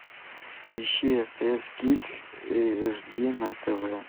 ищи стс кидс эйч ди на тв